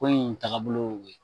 Ko in tagabolo y'o ye.